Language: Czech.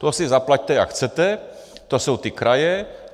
To si zaplaťte, jak chcete, to jsou ty kraje.